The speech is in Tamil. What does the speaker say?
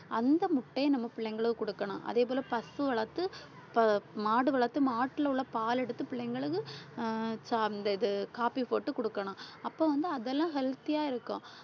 அந்த முட்டையை நம்ம பிள்ளைங்களுக்கு குடுக்கணும். அதே போல பசு வளர்த்து ப~ மாடு வளர்த்து மாட்டுல உள்ள பால் எடுத்து பிள்ளைங்களுக்கு அஹ் சா~ அந்த இது காபி போட்டு குடுக்கணும். அப்ப வந்து அதெல்லாம் healthy ஆ இருக்கும்.